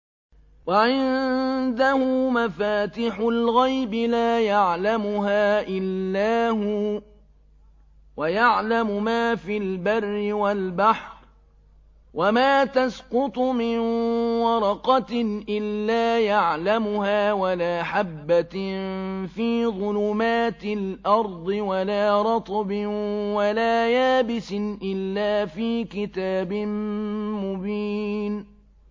۞ وَعِندَهُ مَفَاتِحُ الْغَيْبِ لَا يَعْلَمُهَا إِلَّا هُوَ ۚ وَيَعْلَمُ مَا فِي الْبَرِّ وَالْبَحْرِ ۚ وَمَا تَسْقُطُ مِن وَرَقَةٍ إِلَّا يَعْلَمُهَا وَلَا حَبَّةٍ فِي ظُلُمَاتِ الْأَرْضِ وَلَا رَطْبٍ وَلَا يَابِسٍ إِلَّا فِي كِتَابٍ مُّبِينٍ